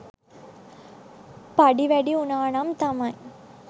පඩි වැඩි වුණානම් තමයි